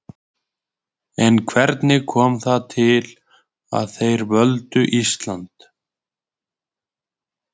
En hvernig kom það til að þeir völdu Ísland?